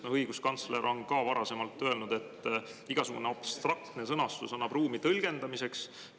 Õiguskantsler on ka varasemalt öelnud, et igasugune abstraktne sõnastus annab ruumi tõlgendamiseks.